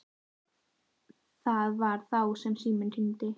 Það var þá sem síminn hringdi.